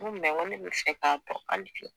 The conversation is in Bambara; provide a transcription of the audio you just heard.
Ngo mɛ n go ne be fɛ k'a dɔn ali bi